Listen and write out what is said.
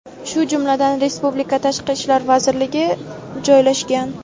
shu jumladan respublika Tashqi ishlar vazirligi joylashgan.